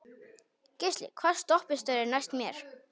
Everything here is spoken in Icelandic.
Geisli, hvaða stoppistöð er næst mér?